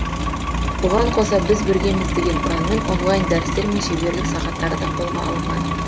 бұған қоса біз біргеміз деген ұранмен онлайн дәрістер мен шеберлік сағаттары да қолға алынған